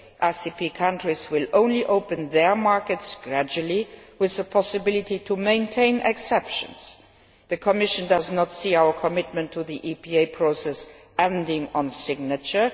ACP countries will only open their markets gradually, with the possibility to maintain exceptions. The Commission does not see our commitment to the EPA process ending on signature.